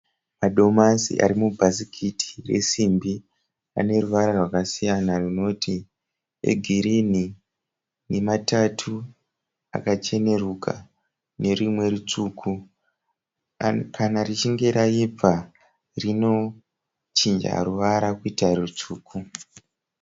Madomasi ari mubhasikiti resimbi. Ane ruvara rwakasiyana runoti egirinhi, nematatu akacheneruka nerimwe rutsvuku. Kana richinge raibva rinochinja ruvara kuita rutsvuku.